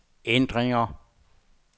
ændringer